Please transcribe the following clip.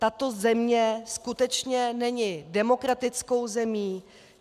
Tato země skutečně není demokratickou zemí.